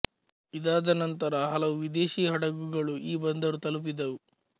ಇದಾದ ನಂತರ ಹಲವು ವಿದೇಶಿ ಹಡಗುಗಳು ಈ ಬಂದರು ತಲುಪಿದವು